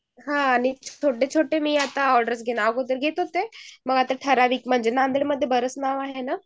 हान आता छोटे छोटे ऑर्डर्स घेते मी आता म्हणजे आता ठराविक नांदेड मध्ये बराच नाव आहे ना